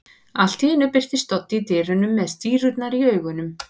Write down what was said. Allt í einu birtist Doddi í dyrunum með stírurnar í augunum.